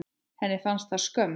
Henni fannst það skömm.